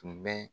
Tun bɛ